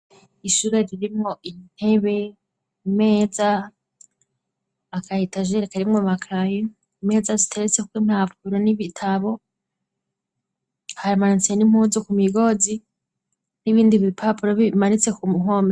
Ishure ririmwo intebe, imeza, akahetajere karimwo amakaye, imeza ziteretseko impapuro n'ibitabo, haramanitse n'impuzu ku migozi, n'ibindi bipapuro bimanitse ku mpombe.